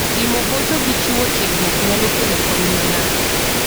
Timo hocho gi chiwo tiegruok nyalo kelo kony ne ng'ato.